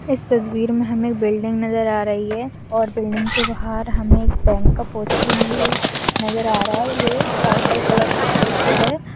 इस तस्वीर में हमें बिल्डिंग नजर आ रही है और बिल्डिंग के बाहर हमें बैंक का पोस्ट नजर आ रहा है यह पर्पल कलर का पोस्टर है।